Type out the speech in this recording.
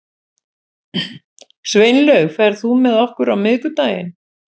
Sveinlaug, ferð þú með okkur á miðvikudaginn?